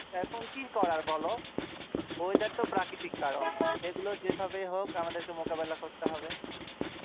এখন কি করার বলো weather তো প্রাকৃতিক কারণ এগুলো যেভাবেই হোক আমাদেরকে মোকাবিলা করতে হবে।